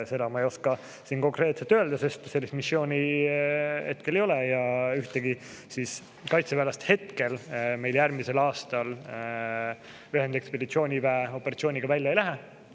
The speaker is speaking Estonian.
Seda ma ei oska siin konkreetselt öelda, sest sellist missiooni hetkel ei ole ja ühtegi kaitseväelast meil järgmisel aastal ühendekspeditsiooniväe operatsiooniga välja ei lähe.